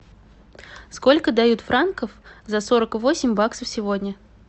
сколько дают франков за сорок восемь баксов сегодня